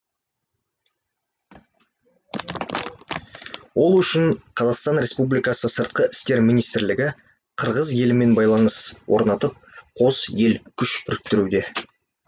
ол үшін қазақстан республикасының сыртқы істер министрлігі қырғыз елімен байланыс орнатып қос ел күш біріктіруде